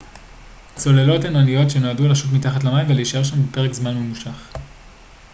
צוללות הן אניות שנועדו לשוט מתחת למים ולהישאר שם במשך פרק זמן ממושך